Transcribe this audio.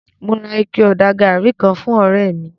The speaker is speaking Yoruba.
Mo ra ike-ọ̀dà gàrí kan fún ọ̀rẹ́ mi